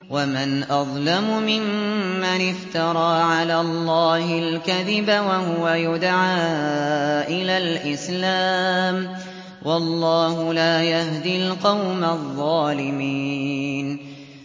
وَمَنْ أَظْلَمُ مِمَّنِ افْتَرَىٰ عَلَى اللَّهِ الْكَذِبَ وَهُوَ يُدْعَىٰ إِلَى الْإِسْلَامِ ۚ وَاللَّهُ لَا يَهْدِي الْقَوْمَ الظَّالِمِينَ